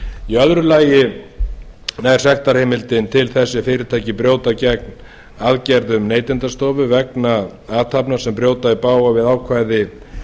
í öðru lagi nær sektarheimildin til þess ef fyrirtæki brjóta gegn aðgerðum neytendastofu vegna athafna sem brjóta í bága við ákvæði